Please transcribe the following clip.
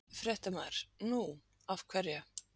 Fréttamaður: Nú, af hverju?